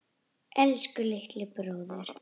Elsku litli bróðir.